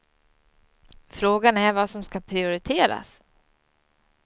Frågan är vad som skall prioriteras.